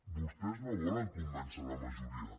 vostès no volen convèncer la majoria